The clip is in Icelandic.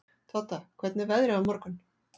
Todda, hvernig er veðrið á morgun?